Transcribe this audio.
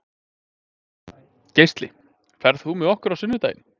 Geisli, ferð þú með okkur á sunnudaginn?